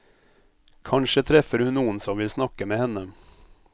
Kanskje treffer hun noen som vil snakke med henne.